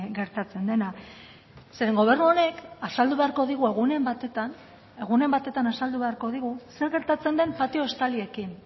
gertatzen dena zeren gobernu honek azaldu beharko digu egunen batetan egunen batetan azaldu beharko digu zer gertatzen den patio estaliekin